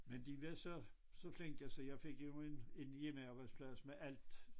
Men var så så flinke så jeg fik jo en en hjemmearbejdsplads med alt